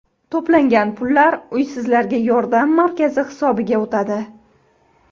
To‘plangan pullar uysizlarga yordam markazi hisobiga o‘tadi.